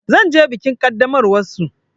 Zan je bikin ƙaddamarwar su.